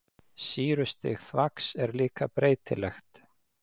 Sýrustig þvags er líka breytilegt.